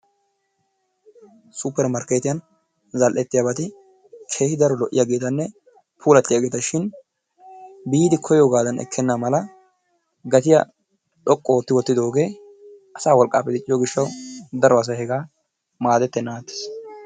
Suppermarketiyan zal"ettiyabati keehi daro lo"iyaageetanne puulatiyaageetashin biidi koyyoogaadan ekkena mala gatiyaa xoqqu ootti wottidooge asaa wolqqappe dicciyo gishshaw daro asay hegaa maaddetennan attiis.